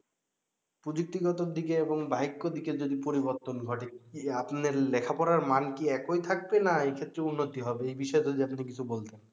প্রযুক্তিগত দিকে এবং বাহিক্য দিকে যদি পরিবর্তন ঘটে কি আপনার লেখা পড়ার মান কি একই থাকবে না এইক্ষেত্রে উন্নতি হবে এই বিষয় টা নিয়ে আপনি যদি কিছু বলতেন